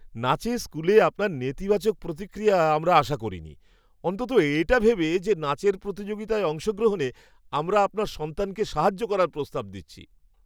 নাচের স্কুলে আপনার নেতিবাচক প্রতিক্রিয়া আমরা আশা করিনি, অন্তত এটা ভেবে যে নাচের প্রতিযোগিতায় অংশগ্রহণে আমরা আপনার সন্তানকে সাহায্য করার প্রস্তাব দিচ্ছি।